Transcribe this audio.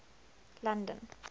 london